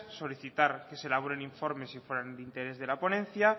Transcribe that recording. solicitar que se elaboren informes si fueran de interés de la ponencia